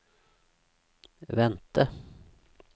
vente